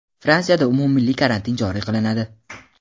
Fransiyada umummilliy karantin joriy qilinadi.